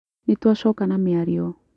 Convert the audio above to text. Nĩ twacoka na mĩario.